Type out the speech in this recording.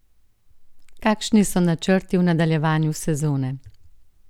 Kakšni so načrti v nadaljevanju sezone?